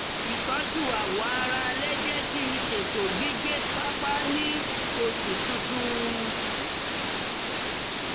ìtọ́jú awọ ara alẹ́ jẹ́ kí n ṣètọ́jú gbígbẹ pàápàá ní oṣù tutù